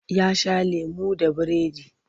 Ya sha lemo da biredi.